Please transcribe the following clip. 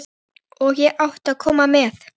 Og ég átti að koma með.